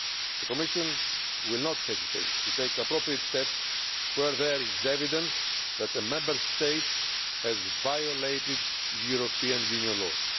The Commission will not hesitate to take appropriate steps where there is evidence that a Member State has violated European Union laws.